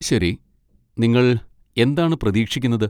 ശരി, നിങ്ങൾ എന്താണ് പ്രതീക്ഷിക്കുന്നത്?